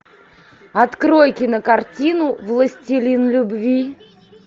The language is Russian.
открой кинокартину властелин любви